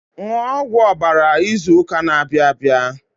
Ṅụọ ọgwụ ọbara izu ụka na-abịa abịa.